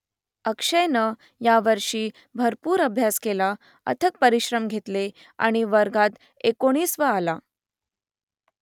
अक्षयनं यावर्षी भरपूर अभ्यास केला अथक परिश्रम घेतले आणि वर्गात एकोणिसावा आला